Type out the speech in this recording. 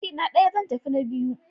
Ajina ɗaya, zan tafi na biyu